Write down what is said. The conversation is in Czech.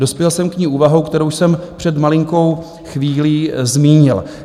Dospěl jsem k ní úvahou, kterou jsem před malinkou chvílí zmínil.